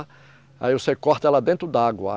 Aí você corta ela dentro d'água.